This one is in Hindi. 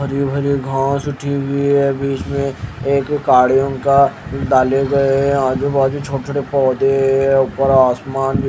हरी भरी घास उठी हुई है बीच में एक गाड़ियों का डाले गए हैं आजू बाजू छोटे-छोटे पौधे हैं ऊपर आसमान भी --